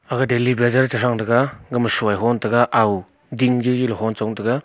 aga daily baazer che thang thega gama soi ho tega ding lili hon chong tega.